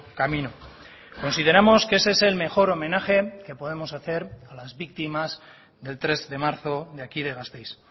camino consideramos que ese es el mejor homenaje que podemos hacer a las víctimas del tres de marzo de aquí de gasteiz